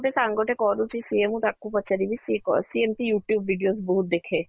ସେ ସାଙ୍ଗ ଟେ କରୁଛି ସିଏ ମୁଁ ତାକୁ ପଚାରିବି ସିଏ କରିଛି ସିଏ ଏମିତି youtube videos ବହୁତ ଦେଖେ